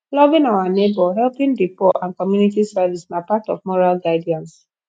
loving our neighbour helping di poor and community service na part of moral guidance